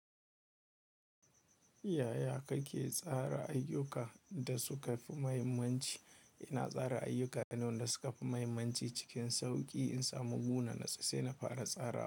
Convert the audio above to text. Yaya kake tsara ayyuka da suka fi muhimmanci? Ina tsara ayyuka na da suka fi muhimmanci cikin sauƙi in samu waje na nutsu sai na fara tsara.